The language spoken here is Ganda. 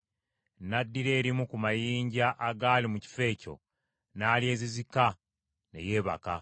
N’addira erimu ku mayinja agaali mu kifo ekyo, n’alyezizika ne yeebaka.